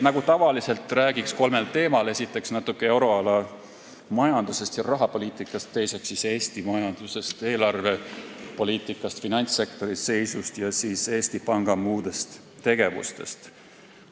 Nagu tavaliselt, räägin kolmel teemal: esiteks, natuke euroala majandusest ja rahapoliitikast, teiseks, Eesti majandusest, eelarvepoliitikast, finantssektori seisust, ning kolmandaks, Eesti Panga muudest tegevustest.